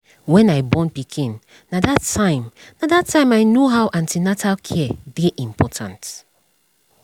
when i born pikin na that time na that time i know how an ten atal care dey important